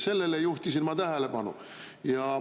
Sellele juhtisin ma tähelepanu.